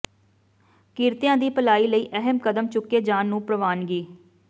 ਕਿਰਤੀਆਂ ਦੀ ਭਲਾਈ ਲਈ ਅਹਿਮ ਕਦਮ ਚੁੱਕੇ ਜਾਣ ਨੂੰ ਪ੍ਰਵਾਨਗੀ